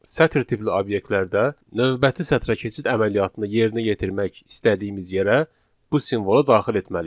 Sətir tipli obyektlərdə növbəti sətrə keçid əməliyyatını yerinə yetirmək istədiyimiz yerə bu simvolu daxil etməliyik.